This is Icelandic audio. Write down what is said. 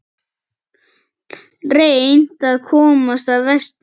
Reynt að komast vestur